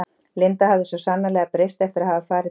Linda hafði svo sannarlega breyst eftir að hafa farið til